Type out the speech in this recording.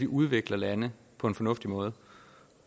udvikler lande på en fornuftig måde